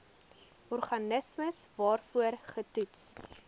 organisme waarvoor getoets